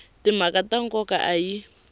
timhaka ta nkoka a yi